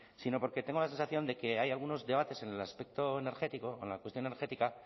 sino porque tengo la sensación de que hay algunos debates en el aspecto energético con la cuestión energética